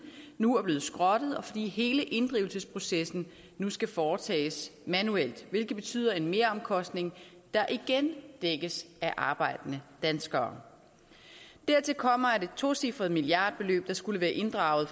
nu er blevet skrottet og fordi hele inddrivelsesprocessen nu skal foretages manuelt hvilket betyder en meromkostning der igen dækkes af arbejdende danskere dertil kommer at et tocifret milliardbeløb der skulle være inddrevet